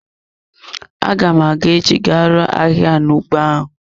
Aga m aga echi ga ruo ahịhịa na ụgbọ ahụ.